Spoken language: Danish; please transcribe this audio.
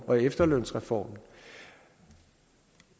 og efterlønsreformen